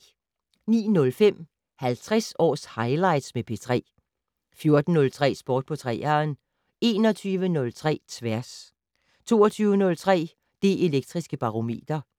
09:05: 50 års highlights med P3 14:03: Sport på 3'eren 21:03: Tværs 22:03: Det Elektriske Barometer